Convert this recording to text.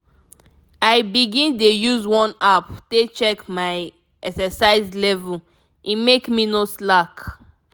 i begin dey use one app take check my exercise level e make me no slack.